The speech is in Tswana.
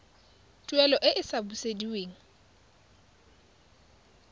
tuelo e e sa busediweng